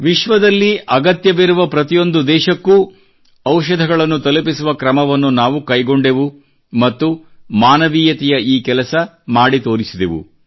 ವಿಶ್ವದಲ್ಲಿ ಅಗತ್ಯವಿರುವ ಪ್ರತಿಯೊಂದು ದೇಶಕ್ಕೂ ಔಷಧಗಳನ್ನು ತಲುಪಿಸುವ ಕ್ರಮವನ್ನು ನಾವು ಕೈಗೊಂಡೆವು ಮತ್ತು ಮಾನವೀಯತೆಯ ಈ ಕೆಲಸ ಮಾಡಿ ತೋರಿಸಿದೆವು